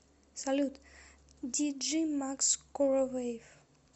салют диджей макс короваев